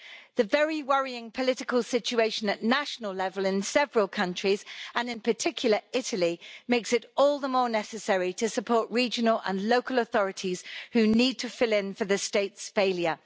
The very worrying political situation at national level in several countries, and in particular Italy, makes it all the more necessary to support regional and local authorities who need to fill in for the state's failure.